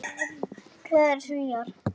Glaðir Svíar.